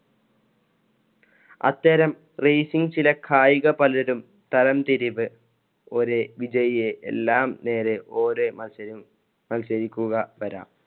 അത്തരം racing ചില കായിക പലരും തരംതിരിവ് ഒരേ വിജയിയെ എല്ലാം നേരെ ഒരേ മത്സരം മത്സരിക്കുക വരാം.